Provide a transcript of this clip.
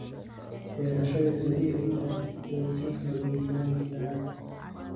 Beerashada dabiiciga ahi way sii xoogaysanaysaa.